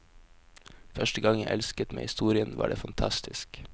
Første gang jeg elsket med historien, var det fantastisk.